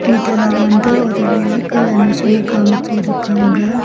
இதுல வந்து ஒரு வெஹிக்கள் எமிஷன காமிச்சி இருக்காங்க.